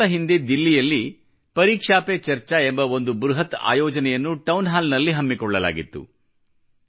ಕೆಲ ದಿನಗಳ ಹಿಂದೆ ದಿಲ್ಲಿಯಲ್ಲಿ ಪರೀಕ್ಷಾ ಪೆ ಚರ್ಚಾ ಎಂಬ ಒಂದು ಬೃಹತ್ ಆಯೋಜನೆಯನ್ನು ಟೌನ್ ಹಾಲ್ ನಲ್ಲಿ ಹಮ್ಮಿಕೊಳ್ಳಲಾಗಿತ್ತು